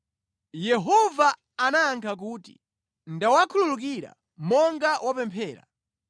Yehova anayankha kuti, “Ndawakhululukira monga wapemphera.